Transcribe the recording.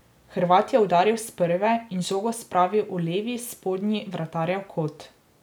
Hrvat je udaril s prve in žogo spravil v levi spodnji vratarjev kot.